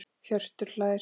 Hjörtur hlær.